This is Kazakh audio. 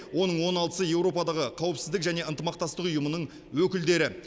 оның он алтысы еуропадағы қауіпсіздік және ынтымақтастық ұйымының өкілдері